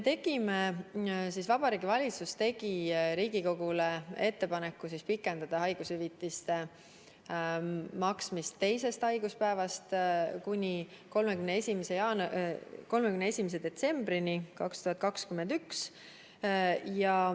Vabariigi Valitsus tegi Riigikogule ettepaneku pikendada haigushüvitiste maksmist teisest haiguspäevast kuni 31. detsembrini 2021.